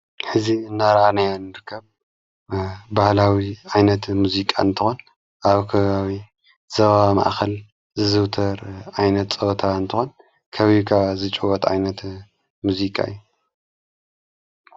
ሕዚ እናራና ንርከብ ባህላዊ ዓይነት ሙዚቃ እንትኾን ኣብከሃዊ ዘባ ማእኸል ዝዝውተር ዓይነት ጸወታ እንተኾን ከቢብካ ዝጭወት ኣይነት ሙዚቃ እዩ።